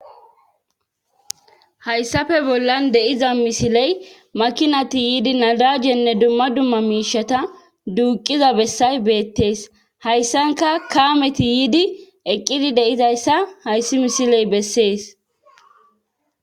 Hayssafe bollan deiza misiley makinati yiidi nadajenne dumma dumma miishata duuqiza bessay beettees hayssanka kaameti yiidi eqqidi deizayssa hayssi misiley bessees